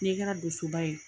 N'i kɛra dusuba ye